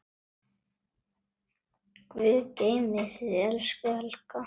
Guð geymi þig, elsku Helga.